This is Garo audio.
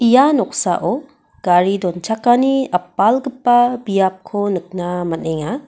ia noksao gari donchakani apalgipa biapko nikna man·enga.